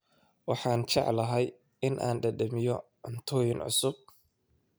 Waxaan jeclahay in aan dhadhamiyo cuntooyin cusub